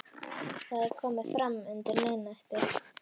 Það er komið fram undir miðnætti.